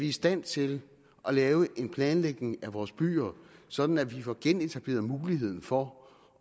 i stand til at lave en planlægning af vores byer sådan at vi får genetableret muligheden for